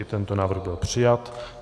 I tento návrh byl přijat.